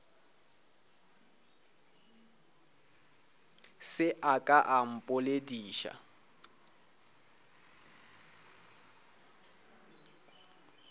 se a ka a mpoledi